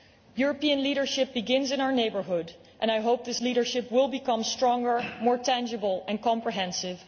European leadership begins in our neighbourhood. I hope this leadership will become stronger, more tangible and comprehensive.